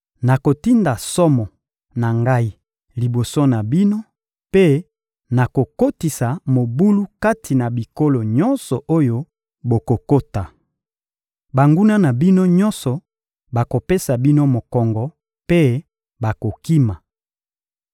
Nakotinda somo na Ngai liboso na bino mpe nakokotisa mobulu kati na bikolo nyonso oyo bokokota. Banguna na bino nyonso bakopesa bino mokongo mpe bakokima.